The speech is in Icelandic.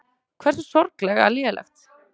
Hversu sorglega lélegt.